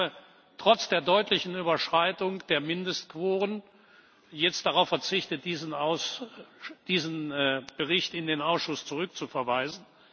Ich habe trotz der deutlichen Überschreitung der Mindestquoren jetzt darauf verzichtet, diesen Bericht in den Ausschuss zurückzuverweisen.